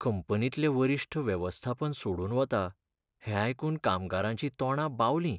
कंपनींतले वरिश्ठ वेवस्थापन सोडून वता हें आयकून कामगारांचीं तोंडां बावलीं.